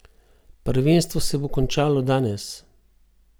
Prvenstvo se bo končalo danes.